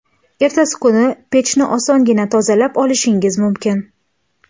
Ertasi kuni pechni osongina tozalab olishingiz mumkin.